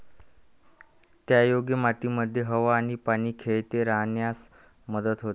त्यायोगे मातीमध्ये हवा आणि पाणी खेळते राहण्यास मदत होते.